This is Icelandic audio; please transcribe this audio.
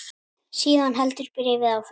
Síðan heldur bréfið áfram